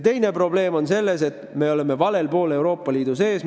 Teine probleem on see, et me oleme valel poolel Euroopa Liidu sees.